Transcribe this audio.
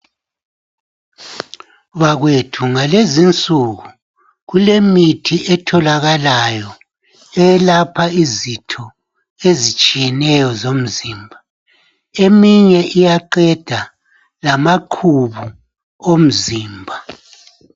Bakwethu ngalezinsuku kulemithi etholakalayo elapha izitho ezitshiyeneyo zomzimba , eminye iyaqeda lamaqhubu omzimba